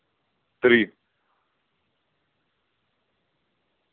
три